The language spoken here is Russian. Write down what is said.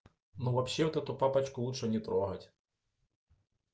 ну вообще вот эту папочку лучше не трогать